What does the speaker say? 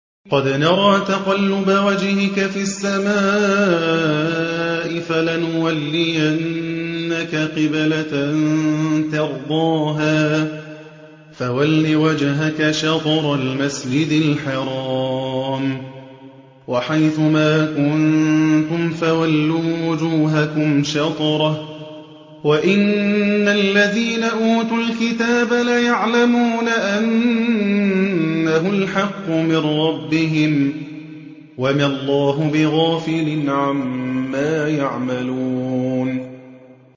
قَدْ نَرَىٰ تَقَلُّبَ وَجْهِكَ فِي السَّمَاءِ ۖ فَلَنُوَلِّيَنَّكَ قِبْلَةً تَرْضَاهَا ۚ فَوَلِّ وَجْهَكَ شَطْرَ الْمَسْجِدِ الْحَرَامِ ۚ وَحَيْثُ مَا كُنتُمْ فَوَلُّوا وُجُوهَكُمْ شَطْرَهُ ۗ وَإِنَّ الَّذِينَ أُوتُوا الْكِتَابَ لَيَعْلَمُونَ أَنَّهُ الْحَقُّ مِن رَّبِّهِمْ ۗ وَمَا اللَّهُ بِغَافِلٍ عَمَّا يَعْمَلُونَ